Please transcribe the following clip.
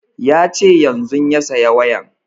Ya ce yanzun ya saya wayan